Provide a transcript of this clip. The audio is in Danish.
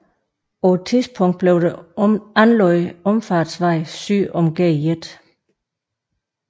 På et tidspunkt blev der anlagt omfartsvej syd om Gl